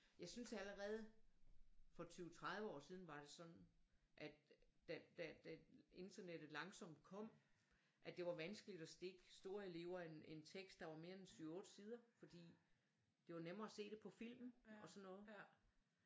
Jeg synes allerede for 20 30 år siden var det sådan at da internettet langsomt kom at det var vanskeligt at stikke store elever en tekst der var mere end 7 8 sider fordi det var nemmere at se det på film og sådan noget